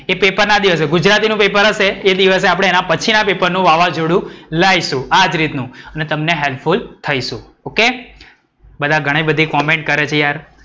એ paper ના દિવસે ગુજરાતીનું પેપર હશે એ દિવસે આપણે એના પછીના પેપરનું વાવજોડું લાઈશું આજ રીતનું. ને તમને helpful થઇશુ. બધા ઘણી બધી comment કરે છે યાર.